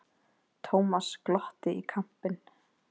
Thomas glotti í kampinn.